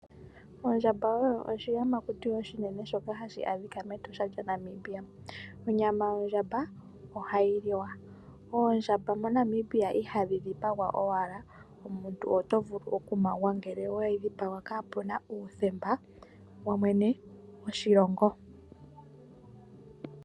Ondjamba oyi oshiyamakuti oshinene shoka hashi adhika meEtosha lya Namabia. Onyama yondjamba ohayi liwa. Oondjamba mo Namibia ihadhi dhipagwa owala. Omuntu oto vulu oku mangwa ngele oweyi dhipaga kaapuna uuthemba wa mwene go Shilongo.